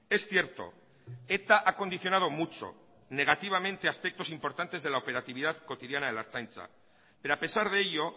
es cierto eta ha condicionado mucho negativamente aspectos importantes de la operatividad cotidiana de la ertzaintza pero a pesar de ello